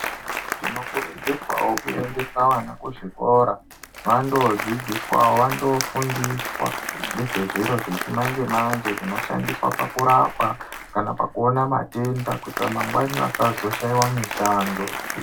Tinokurudzirwawo kuendeswa vana kuzvikora vando dzidziswawo vandofundiswa ngezve zviro zvechimanje manje zvinoshandiswa pakurapa kana pakuona matenda kuitira mangwani vasazoshaiwa mishando.